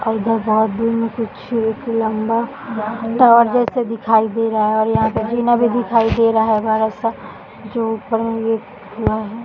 और वो बहुत दूर से छे एक लम्बा टावर जैसा दिखाई दे रहा है और यहाँ पर भी दिखाई दे रहा है बड़ा सा --